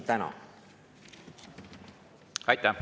Aitäh!